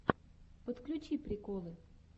подключи приколы